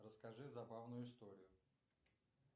расскажи забавную историю